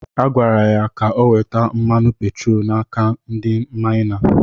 Agwara ya ka o weta mmanụ petroolu n’aka ndị maịna.